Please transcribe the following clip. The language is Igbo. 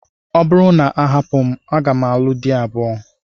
Ọ bụrụ na a hapụ m, aga m alụ di abụọ.